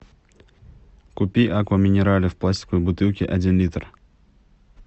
купи акваминерале в пластиковой бутылке один литр